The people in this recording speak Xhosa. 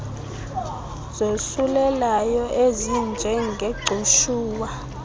zosulelayo ezinje ngegcushuwa